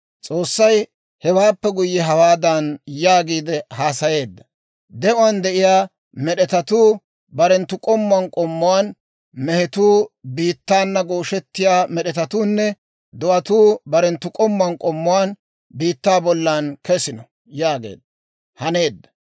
S'oossay hewaappe guyye hawaadan yaagiide haasayeedda; «De'uwaan de'iyaa med'etatuu barenttu k'ommuwaan k'ommuwaan: mehetuu, biittaana gooshettiyaa med'etatuunne do'atuu barenttu k'ommuwaan k'ommuwaan biittaa bollan kesino» yaageedda; haneedda.